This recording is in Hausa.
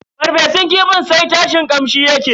farfesun kifin sai tashin kamshi mai daɗi yake yi.